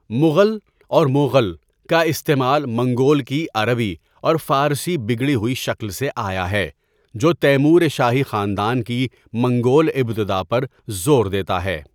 مغل' اور 'موغل' کا استعمال 'منگول' کی عربی اور فارسی بگڑی ہوئی شکل سے آیا ہے، جو تیمور شاہی خاندان کی منگول ابتدا پر زور دیتا ہے۔